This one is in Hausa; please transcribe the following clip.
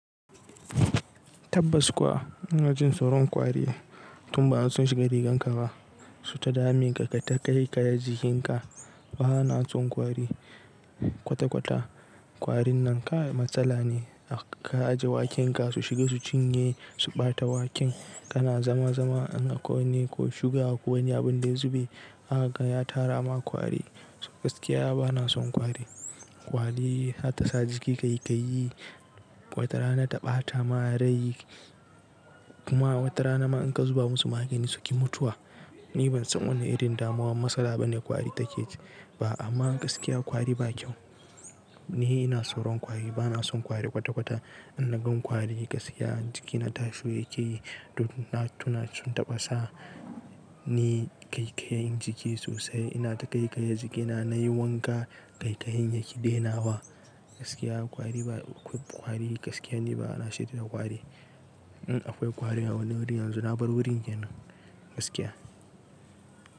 Tabbas kuwa, ina jin tsoron kwari, tun ba sun shiga riganka ba, suyi ta damin ka kayita kaikaya jikinka. Bana son kwari kwata-kwata. Kwarin nan kai matsala ne, ka ajiye waken ka, su shiga su cinye su ɓata waken, ka na zama zama an ka wani ko shiga, ko wani abin da ya zube, zaka ga ya tara ma kwari. Gaskiya bana son kwari. Kwari za ta sa jiki ƙaiƙayi, wata rana ta ɓata ma rai kuma wata rana ma, in ka zuba musu magani suki mutuwa. Ni ban san wanne irin damuwa matsala ba ne kwari take ji ba, amma gaskiya kwari ba kyau. Ni ina tsoron kwari, bana son kwari kwata-kwata. In na gan kwari gaskiya jikina tashi yake yi, duk na tuna sun taɓa sa ni, ƙaiƙayi jiki sosai. Ina taƙaiƙaya jikina na, yi wanka ƙaiƙayin yake daina wa. Gaskiya kwari ba akwai kwari gaskiya ni bana sha'awa da kwari. In akwai kwari a wani wuri yanzu, na bar wurin yanar gaskiya.